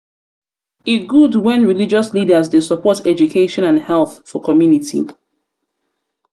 e good wen religious leaders dey support education and health for community.